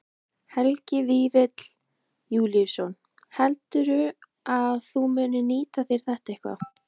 Helgi Vífill Júlíusson: Heldurðu að þú munir nýta þér þetta eitthvað?